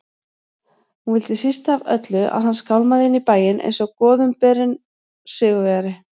Hún vildi síst af öllu að hann skálmaði inn í bæinn einsog goðumborinn sigurvegari.